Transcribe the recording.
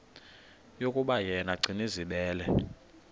yokuba yena gcinizibele